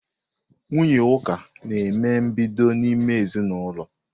Nwunye Uka na-eme mbido n'ime ezinaụlọ.